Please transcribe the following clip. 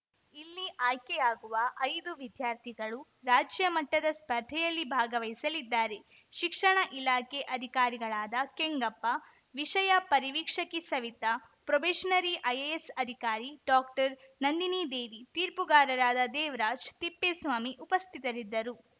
ಇಲ್ಲಿ ಆಯ್ಕೆಯಾಗುವ ಐದು ವಿದ್ಯಾರ್ಥಿಗಳು ರಾಜ್ಯ ಮಟ್ಟದ ಸ್ಪರ್ಧೆಯಲ್ಲಿ ಭಾಗವಹಿಸಲಿದ್ದಾರೆ ಶಿಕ್ಷಣ ಇಲಾಖೆ ಅಧಿಕಾರಿಗಳಾದ ಕೆಂಗಪ್ಪ ವಿಷಯ ಪರಿವೀಕ್ಷಕಿ ಸವಿತಾ ಪ್ರೊಬೇಷನರಿ ಐಎಎಸ್‌ ಅಧಿಕಾರಿ ಡಾಕ್ಟರ್ ನಂದಿನಿದೇವಿ ತೀರ್ಪುಗಾರರಾದ ದೇವರಾಜ್‌ ತಿಪ್ಪೇಸ್ವಾಮಿ ಉಪಸ್ಥಿತರಿದ್ದರು